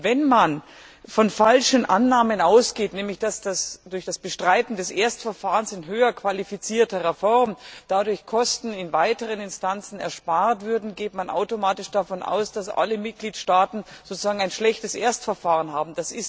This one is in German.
Wenn man von falschen Annahmen ausgeht, nämlich dass durch das Bestreiten des Erstverfahrens in höher qualifizierter Form Kosten in weiteren Instanzen gespart würden, geht man automatisch davon aus, dass alle Mitgliedstaaten sozusagen ein schlechtes Erstverfahren haben.